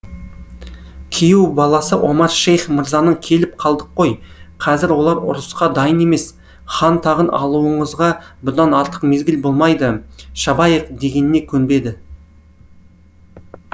күйеу баласы омар шейх мырзаның келіп қалдық қой қазір олар ұрысқа дайын емес хан тағын алуыңызға бұдан артық мезгіл болмайды шабайық дегеніне көнбеді